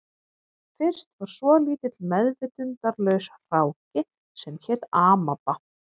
Fyrst var svolítill meðvitundarlaus hráki sem hét amaba